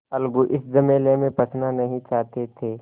अलगू इस झमेले में फँसना नहीं चाहते थे